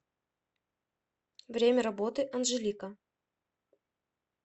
время работы анжелика